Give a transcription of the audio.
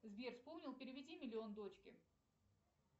сбер вспомнил переведи миллион дочке